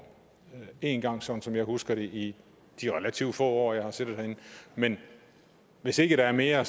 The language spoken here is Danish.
én gang sådan som jeg husker det i de relativt få år jeg har siddet herinde men hvis ikke der er mere